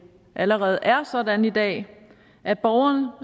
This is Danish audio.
allerede er sådan i dag at borgeren